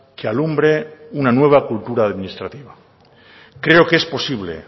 que alumbre una nueva cultura administrativa creo que es posible